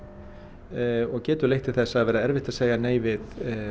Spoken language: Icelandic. og getur leitt til þess að það verði erfitt að segja nei við